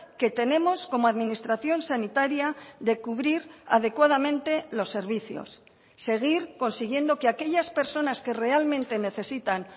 que tenemos como administración sanitaria de cubrir adecuadamente los servicios seguir consiguiendo que aquellas personas que realmente necesitan